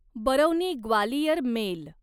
Barauni Gwalior mail